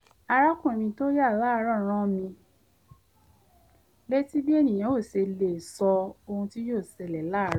arákùnrin mi tó yà láàárọ̀ rán mi létí bí ènìyàn ò ṣe lè sọ ohun tí yóò ṣẹlẹ̀ láàárọ̀